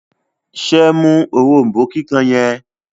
ṣe mú òrombó kíkàn yen?